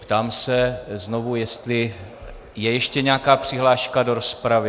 Ptám se znovu, jestli je ještě nějaká přihláška do rozpravy.